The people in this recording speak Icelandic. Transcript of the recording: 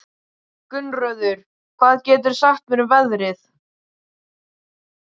Gunnröður, hvað geturðu sagt mér um veðrið?